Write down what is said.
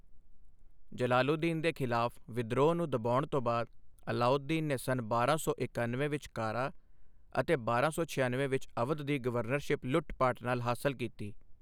ਜਲਾਲੂਦੀਨ ਦੇ ਖਿਲਾਫ਼ ਵਿਦਰੋਹ ਨੂੰ ਦਬਾਉਣ ਤੋਂ ਬਾਅਦ ਅਲਾਊਦੀਨ ਨੇ ਸੰਨ ਬਾਰਾਂ ਸੌ ਇਕਣਵੇਂ ਵਿੱਚ ਕਾਰਾ ਅਤੇ ਬਾਰਾਂ ਸੌ ਛਿਆਨਵੇਂ ਵਿੱਚ ਅਵਧ ਦੀ ਗਵਰਨਰਸ਼ਿਪ ਲੁੱਟ ਪਾਟ ਨਾਲ ਹਾਸਲ ਕੀਤੀ।